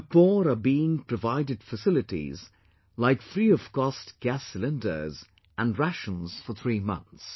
The poor are being provided facilities like free of cost gas cylinders and rations for three months